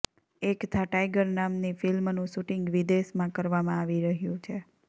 એક થા ટાઈગર નામની ફિલ્મનું શૂટિંગ વિદેશમાં કરવામાં આવી રહ્યુ છે